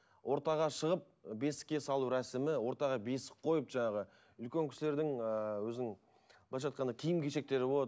ортаға шығып бесікке салу рәсімі ортаға бесік қойып жаңағы үлкен кісілердің ыыы өзінің былайша айтқанда киім кешектері болады